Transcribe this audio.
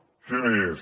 què més